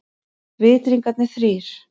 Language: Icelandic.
Vitringarnir þrír.